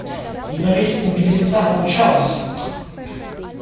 но ведь у бедренца получалось